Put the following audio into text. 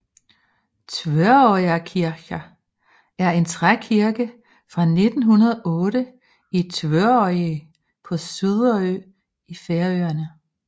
Tvøroyrar kirkja er en trækirke fra 1908 i Tvøroyri på Suðuroy i Færøerne